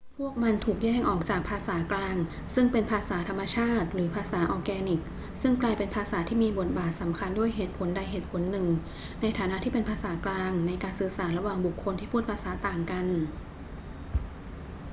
พวกมันถูกแยกออกจากภาษากลาง ซึ่งเป็นภาษาธรรมชาติหรือภาษาออร์แกนิกซึ่งกลายเป็นภาษาที่มีบทบาทสำคัญด้วยเหตุผลใดเหตุผลหนึ่งในฐานะที่เป็นภาษากลางในการสื่อสารระหว่างบุคคลที่พูดภาษาต่างกัน